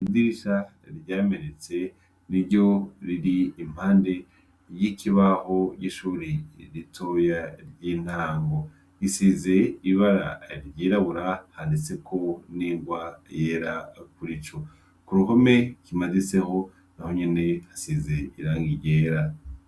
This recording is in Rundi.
Idirisha ryamenetse niryo riri impande y' ikibaho ryishure ritoya ry' intango risize ibara ryirabura handitseko n' ingwa yera kurico kuruhome kimaditseho naho nyene hasize irangi ryera.